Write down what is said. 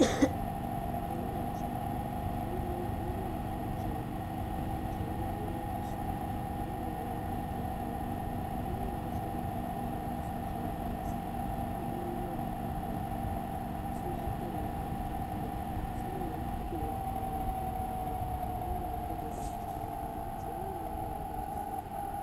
Niraba ata n chɛni ŋɔ n tuhiri ninvuɣu yinga soli ka laa nira maa ʒi kpalaŋa niraba ata shab ban chɛni maa so ʒila baskɛti ka kpabi bia ka so ʒi kpalaŋa kaa kpabi bia so mii gbubila kpalaŋ maa ka kpabi bia ŋunbɔŋɔ maa ŋun gbubila gbambili o nuuni tihi ni mori nyɛla din bɛ nimaani